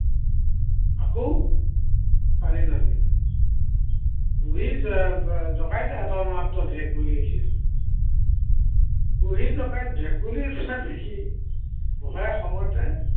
আকৌ, পানীত নামিল। বুঢ়ীৰ জঁকাইত এটা মাত্ৰ ভেকুলী উঠিল। বুঢ়ীৰ জঁকাইত ভেকুলী উঠা দেখি বুঢ়াই খঙতে